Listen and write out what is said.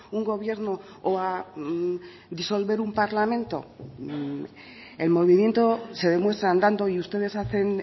un gobierno o a disolver un parlamento el movimiento se demuestra andando y ustedes hacen